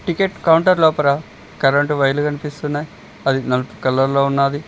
Ticket counter లోపల current వైర్లు కనిపిస్తున్నాయి అది నలుపు కలర్ లో ఉన్నాది.